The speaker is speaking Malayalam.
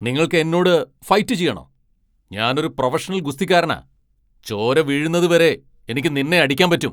നിങ്ങൾക്ക് എന്നോട് ഫൈറ്റ് ചെയ്യണോ? ഞാൻ ഒരു പ്രൊഫഷണൽ ഗുസ്തിക്കാരനാ! ചോര വീഴുന്നതുവരെ എനിക്ക് നിന്നെ അടിക്കാൻ പറ്റും .